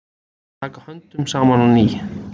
Taka höndum saman á ný